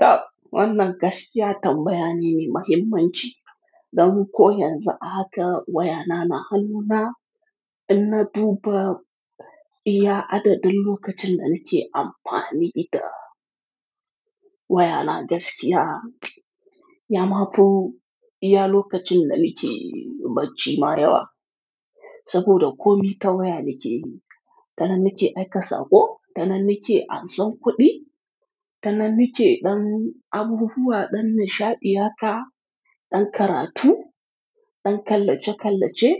Ta wannan gaskiya tambaya ne mai muhimmanci, dan ko yanzu haka wayana na hannuna, ina duba iya adadin lokacin da nake amfani da wayana gaskiya. Ya mafu iya lokacin da nake bacci ma yawa, saboda komi ta waya nake yi. Ta nan nake aika sako, ta nan nake ansan kuɗi, ta nan nake dan abubuwa, dan nishaɗiya ka, dan karatu, dan kallace-kallace,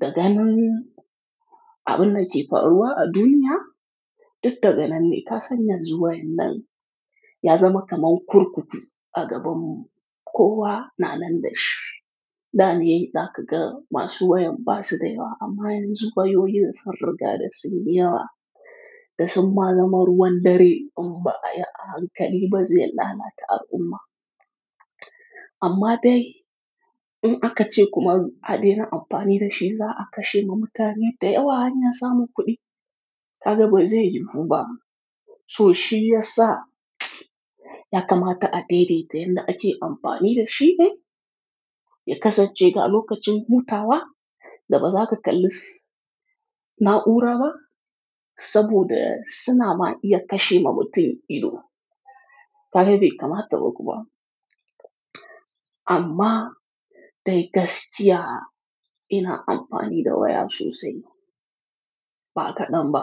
da ganin abin da ke faruwa a duniya, duk ta ga nan ne. Ka sanya zuwa yan nan ya zama kamar kurkutu a gabarmu, kowa na nan da shi. Da ni, da ka ga masu wayan ba su da yawa, amma yanzu wayoyin sun riga da sun yawa, da sun ma zama ruwan dare in ba a yi a hankali ba zai lalata al'umma. Amma dai, in aka ce kuma hadin na amfani da shi za a kashe ma mutane da yawa hanyar samun kuɗi, ka ga bai zai yiwu ba. To shi ya sa ya kamata a daidaita yadda ake amfani da shi ne, ya kasance ga lokacin hutawa, da baza ka kalli na'ura ba, saboda suna ma iya kashe ma mutum ido. Ka be kama taɓa kuwa? Amma dai gaskiya ina amfani da wayar sosai. Ba kaɗan ba.